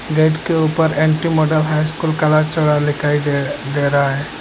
Gate के ऊपर N T model high school Kalachira लिखाई दे दे रहा है।